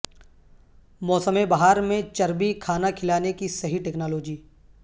موسم بہار میں چربی کھانا کھلانے کی صحیح ٹیکنالوجی